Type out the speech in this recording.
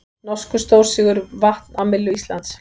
Norskur stórsigur vatn á myllu Íslands